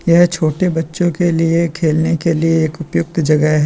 यह छोटे बच्चों के लिए खेलने के लिए एक उपयुक्त जगह है।